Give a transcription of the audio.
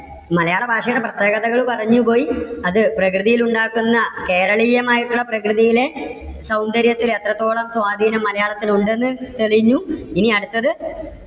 മലയാള ഭാഷയുടെ പ്രത്യേകതകൾ പറഞ്ഞുപോയി. അത് പ്രകൃതിയിൽ ഉണ്ടാക്കുന്ന, കേരളീയമായിട്ടുള്ള പ്രകൃതിയിലെ സൗന്ദര്യത്തിൽ എത്രത്തോളം സ്വാധീനം മലയാളത്തിന് ഉണ്ടെന്ന് തെളിഞ്ഞു. ഇനി അടുത്തത്